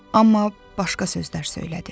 Amma başqa sözlər söylədi.